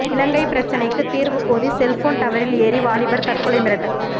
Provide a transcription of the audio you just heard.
இலங்கை பிரச்னைக்கு தீர்வு கோரி செல்போன் டவரில் ஏறி வாலிபர் தற்கொலை மிரட்டல்